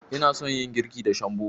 Ina son yin girki da shambo.